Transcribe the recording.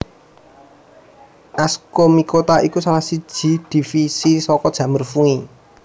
Ascomycota iku salah siji divisi saka jamur fungi